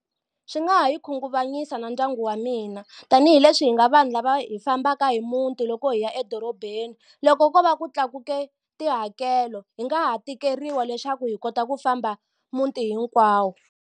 Swi nga ha yi khunguvanyisa na ndyangu wa mina tanihileswi hi nga vanhu lava hi fambaka hi muti loko hi ya edorobeni loko ko va ku tlakuke tihakelo hi nga ha tikeriwa leswaku hi kota ku famba muti hinkwawo.